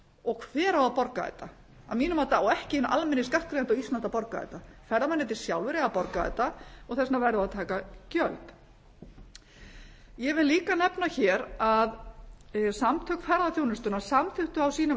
og hver á að borga þetta að mínu mati á ekki hinn almenni skattgreiðandi á íslandi að borga þetta ferðamennirnir sjálfir eiga að borga þetta þess vegna verðum við að taka gjöld ég vil líka nefna hér að samtök ferðaþjónustunnar samþykktu á sínum